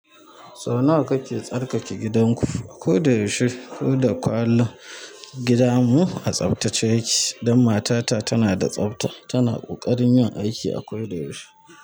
Sau nawa kake tsarkake gidanku a ko da yaushe? Koda kullum gida mu a tsaftace yake dan matata tana da tsafta. Tana ƙoƙarin yin aiki a ko da yaushe.